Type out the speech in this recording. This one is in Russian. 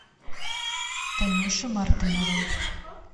танюше мартыновой